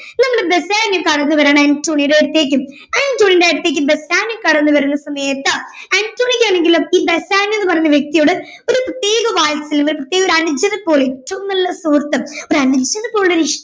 നമ്മുടെ ബസാനിയോ കടന്നുവരികയാണ് അന്റോണിയോയുടെ അടുത്തേക്ക് അന്റോണിയോയുടെ അടുത്തേക്ക് ബസാനിയോ കടന്നുവരുന്ന സമയത്ത് അന്റോണിയോക്ക് ആണെങ്കിൽ ഈ ബസാനിയോ എന്ന വ്യക്തിയോട് ഒരു പ്രത്യേക വാത്സല്യം ഒരു പ്രത്യേക ഒരു അനുജനെ പോലെ ഏറ്റവും നല്ല സുഹൃത്ത് ഒരു അനുജനെ പോലെ ഇഷ്ടം